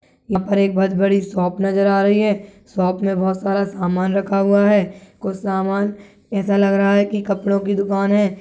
यहाँ पर एक बहोत बड़ी शॉप नज़र आ रही है शॉप में बहोत सारा सामान रखा हुआ है कुछ सामान ऎसा लग रहा है कि कपड़ों की दुकान हैं।